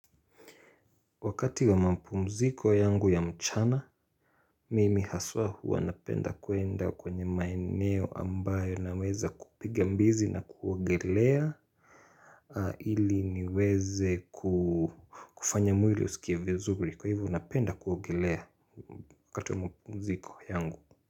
Wakati wa mapumziko yangu ya mchana, mimi haswa huwa napenda kuenda kwenye maeneo ambayo naweza kupiga mbizi na kuogelea ili niweze ku kufanya mwili usikie vizuri kwa hivyo napenda kuogelea wakati wa mapumziko yangu.